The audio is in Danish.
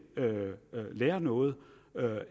lærer noget